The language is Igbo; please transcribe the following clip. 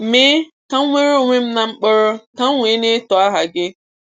Mee ka m nwere onwe m na mkpọrọ, ka m wee na-eto aha gị.